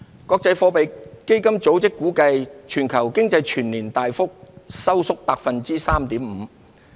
國際貨幣基金組織估計，全球經濟全年大幅收縮 3.5%。